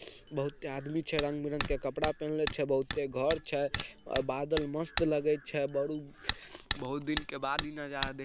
बहुते आदमी छे। रंग-बिरंग के कपड़ा पेन्हले छे। बहुते घर छे और बादल मस्त लगै छे बडू बहुत दिन के बाद ई नजारा देख --